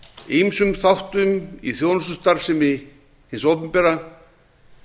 ýmsum þáttum í þjónustustarfsemi hins opinbera